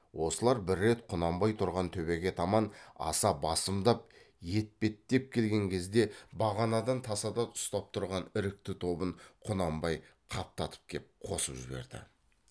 осылар бір рет құнанбай тұрған төбеге таман аса басымдап етпеттеп келген кезде бағанадан тасада ұстап тұрған ірікті тобын құнанбай қаптатып кеп қосып жіберді